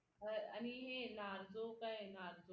बर आणि हे narzo काय ये narzo